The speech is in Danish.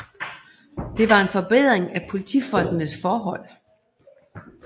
Det var en forbedring af politifolkenes forhold